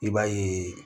I b'a ye